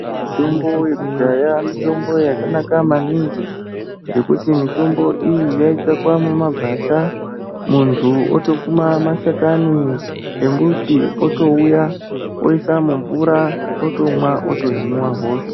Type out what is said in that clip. Mitombo yekudhaya mitombo yakanaka maningi ngekuti mitombo iyi yaitsvakwa mumagwasha, muntu otokuma mashakani embuti, otouya oisa mumvura otomwa otohinwa hosha.